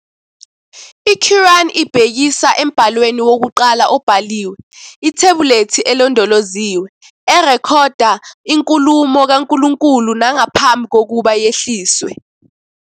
I-Quran ibhekisa embhalweni wokuqala obhaliwe, "ithebhulethi elondoloziwe," erekhoda inkulumo kaNkulunkulu nangaphambi kokuba yehliswe.